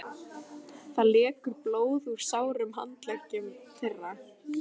Það lekur blóð úr sárum handleggjum þeirra.